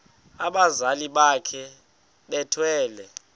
abazali bakhe bethwele